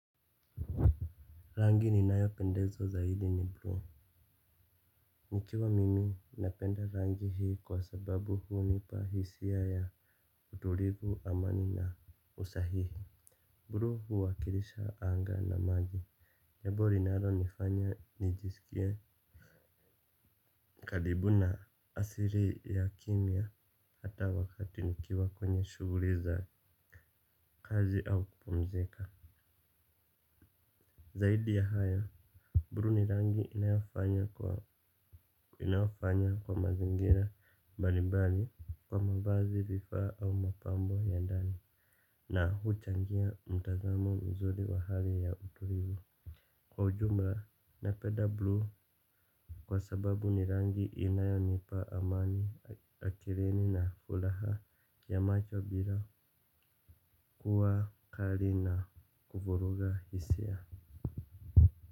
Rangi ni nayo pendezwa zaidi ni Buluu. Nikiwa mimi napenda rangi hii kwa sababu hunipa hisia ya utulivu amani na usahihi. Bruu huwakilisha anga na maji jabo rinaronifanya nijisikie karibu na asiri ya kimya hata wakati nikiwa kwenye shuguri za kazi au kupumzika. Zaidi ya haya, bruu ni rangi inayofanya inayofanya kwa mazingira mbalimbali kwa mavazi vifaa au mapambo ya ndani na huchangia mtazamo mzuri wa hali ya utulivu. Kwa ujumra, napeda bluu kwa sababu ni rangi inayonipa amani akirini na fulaha ya macho bila kuwa kari na kuvuruga hisia.